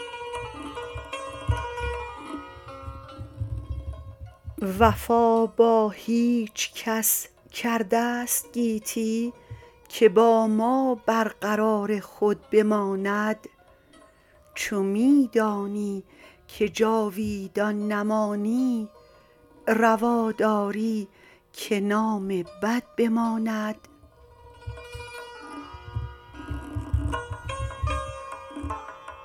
وفا با هیچکس کردست گیتی که با ما بر قرار خود بماند چو می دانی که جاویدان نمانی روا داری که نام بد بماند